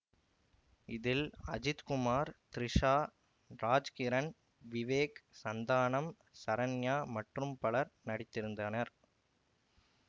இதில் அஜித் குமார் திரிஷா ராஜ்கிரண் விவேக் சந்தானம் சரண்யா மற்றும் பலர் நடித்திருந்தனர்